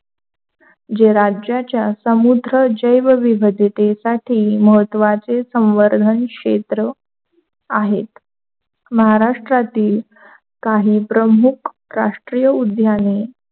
जे राज्याच्या समुद्रव्य जैवविविधितीसाठी मराठी महत्वाचे संवर्धन क्षेत्र आहेत. महाराष्ट्रातील काही प्रमुख राष्ट्रीय उद्यानी,